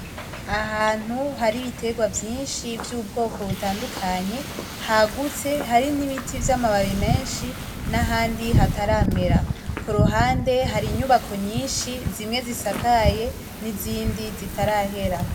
Ahantu hari ibiterwa vyinshi vyubwoko butandukanye hagutse hari nibiti vyamababi menshi nahandi hataramera kuruhande hari inyubako nyinshi zimwe zisakaye nizindi zitarahera